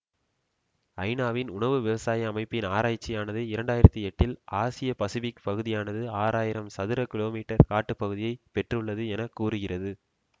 ஐநாவின் உணவு விவசாய அமைப்பின் ஆராய்ச்சியானது இரண்டு ஆயிரத்தி எட்டில் ஆசியபசிபிக் பகுதியானது ஆறு ஆயிரம் சதுர கீழோ மீட்டர் காட்டுப்பகுதியை பெற்றுள்ளது என கூறுகிறது